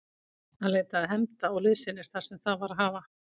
Hann leitaði hefnda og liðsinnis þar sem það var að hafa.